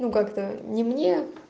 ну как-то не мне